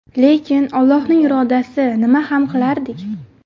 Lekin Allohning irodasi, nima ham qilardik.